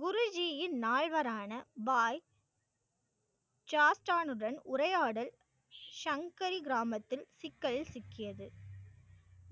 குருஜியின் நால்வரான பாய் சாஸ்டானுடன் உரையாடல் சங்கரி கிராமத்தில் சிக்கலில் சிக்கியது.